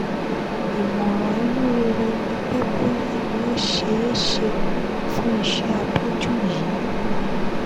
ìmọ̀ràn inú rere ni pé bóyá ni ó ṣeé ṣe fún ìṣẹ́ abẹ́jú yìí